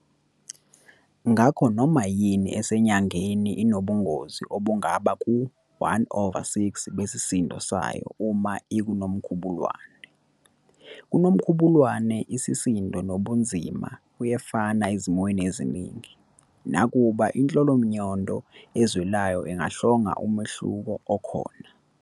Ngakho noma yini esenyangeni inobunzima obungaba ku-1 over 6 besisindo sayo uma ikuNomkhubulwane. KuNomkhubulwane, isisindo nobunzima kuyafana ezimweni eziningi, nakuba inhlolamnyondo ezwelayo ingahlonga umehluko okhona.